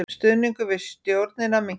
Stuðningur við stjórnina minnkar